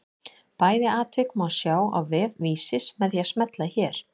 Bæði atvik má sjá á vef Vísis með því að smella hér.